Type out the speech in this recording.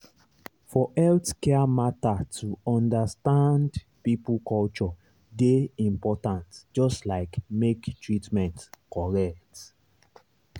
for healthcare matter to understand people culture dey important just like make treatment correct.